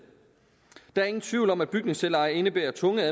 der ingen tvivl om at bygningsselveje indebærer tunge